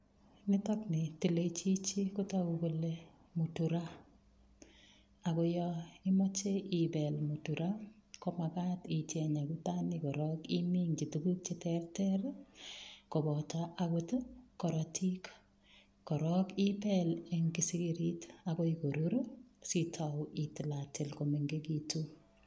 Nitok ni tilechichi kotagu kole muturaa, ago yoimache ibel muturaa ko magat icheng akutanik korok iminji tuguk cheterter, koboto agot korotik. Korok ibel eng kisigirit agoi korur sitau itilatil komengegitu.